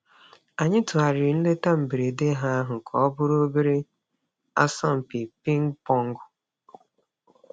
Anyị tụgharịrị nleta mberede ha ahu ka ọ bụrụ obere asọmpi pịng pọng.